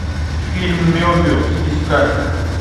фильм мебиус искать